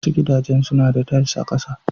Wasu gidajen suna da tiles a ƙasa.